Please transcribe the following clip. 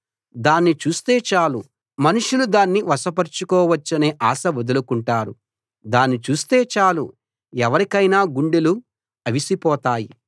దాన్ని చూస్తే చాలు మనుషులు దాన్ని వశపరచుకోవచ్చనే ఆశ వదులుకుంటారు దాని చూస్తే చాలు ఎవరికైనా గుండెలు అవిసిపోతాయి